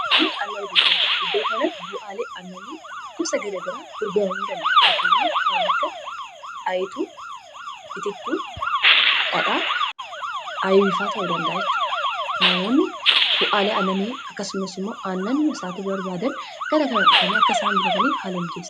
Namooti annan gurguran iddoo kanatti bu'aalee annani gosa garagaraa gurgaramuu danda'a fakkeenyaaf kan akka ayetuu, itittuu ,dhadhaa, aayibifaa ta'uu dandaa'a jechuudha namoonni bu'aalee aannanii akkasumas immoo aannan bitachuu barbaadan gara kana dhufanii akka isaan bitataniif haalamijeessa